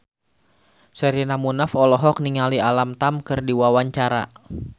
Sherina Munaf olohok ningali Alam Tam keur diwawancara